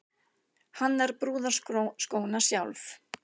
Hannar brúðarskóna sjálf